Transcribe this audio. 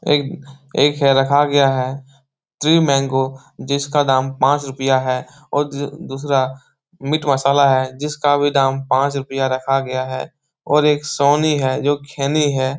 एक एक है रखा गया है ट्री मैंगो जिसका दाम पाँच रूपया है और ज दूसरा मीट मसाला है जिसका भी दाम पाँच रूपया रखा गया हैऔर एक सोनी है जो खैनी है ।